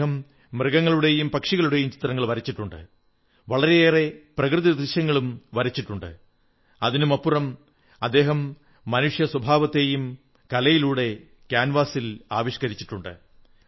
അദ്ദേഹം മൃഗങ്ങളുടെയം പക്ഷികളുടെയും ചിത്രങ്ങൾ വരച്ചിട്ടുണ്ട് വളരെയേറെ പ്രകൃതിദൃശ്യങ്ങളും വരച്ചിട്ടുണ്ട് അതിനുമപ്പുറം അദ്ദേഹം മനുഷ്യസ്വഭാവത്തെയും കലയിലൂടെ കാൻവാസിൽ ആവിഷ്കരിച്ചിട്ടുണ്ട്